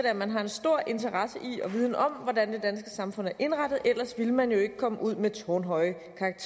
at man har en stor interesse i og viden om hvordan det danske samfund er indrettet ellers ville man jo ikke komme ud med tårnhøje